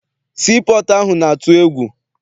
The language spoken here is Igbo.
Sii pọọtụ ahụ na-atụ egwu.